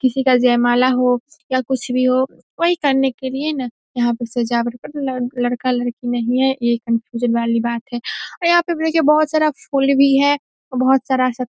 किसी का जयमाला हो या कुछ भी हो वही करने के लिए ना यहाँ पर सजावट पर ल लड़का-लड़की नहीं हैं ये कंफ्यूजन वाली बात है और यहाँ पे देखिए बहोत सारा फूल भी है और बहोत सारा सब --